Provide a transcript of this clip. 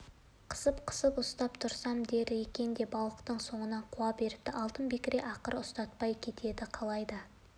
бала көтерген көп әйелдер әдетте әрнеге біреу ащыға біреу тұщыға жерік болып жатады